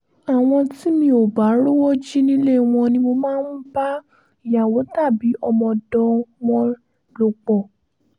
àwọn tí mi ò bá rówó jì nílé wọn ni mo máa ń bá ìyàwó tàbí ọmọọ̀dọ̀ wọn lò pọ̀